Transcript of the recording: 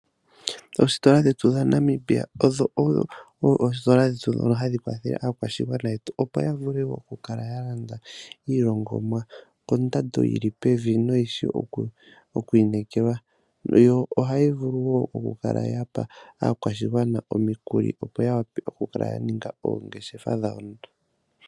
Oositola dhetu dhaNamibia odho oositola dhetu ndhono hadhi kwathele aakwashigwana yetu opo ya vule oku kala ya landa iilongomwa kondando yili pevi noyishi oku inekelwa. Yo ohayi vulu wo oku kala yapa aakwashigwana omikuli opo ya wape oku kala ya ninga oongeshefa dhawo.